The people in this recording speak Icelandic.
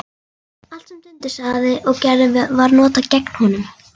Allt sem Dundi sagði og gerði var notað gegn honum.